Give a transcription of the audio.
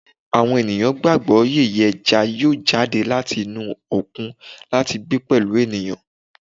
Awọn eniyan gbagbọ yeye eja yoo jade lati inu okun lati gbe pẹlu eniyan